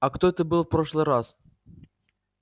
а кто это был в прошлый раз